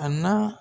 A na